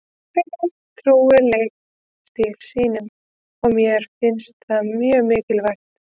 Þeir voru trúir leikstíl sínum og mér finnst það mjög mikilvægt.